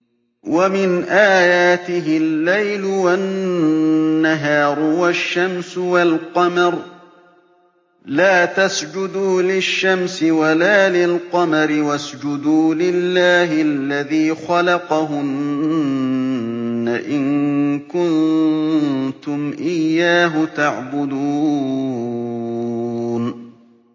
وَمِنْ آيَاتِهِ اللَّيْلُ وَالنَّهَارُ وَالشَّمْسُ وَالْقَمَرُ ۚ لَا تَسْجُدُوا لِلشَّمْسِ وَلَا لِلْقَمَرِ وَاسْجُدُوا لِلَّهِ الَّذِي خَلَقَهُنَّ إِن كُنتُمْ إِيَّاهُ تَعْبُدُونَ